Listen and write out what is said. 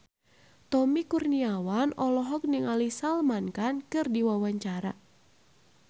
Tommy Kurniawan olohok ningali Salman Khan keur diwawancara